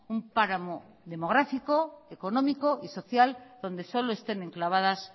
un páramo demográfico económico y social donde solo estén enclavadas